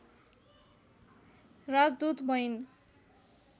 राजदूत भइन्